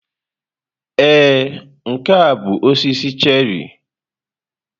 Ee, nke a bụ osisi cherrị.